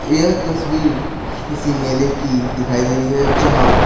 यह तस्वीर किसी मेले की दिखाई दे रही है जहां--